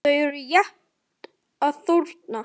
Þau eru rétt að þorna!